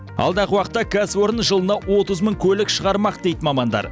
алдағы уақытта кәсіпорын жылына отыз мың көлік шығармақ дейді мамандар